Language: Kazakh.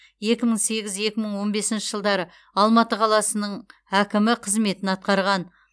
екі мың сегіз екі мың он бесінші жылдары алматы қаласының әкімі қызметін атқарған